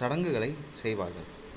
சடங்குகளைச் செய்வார்கள்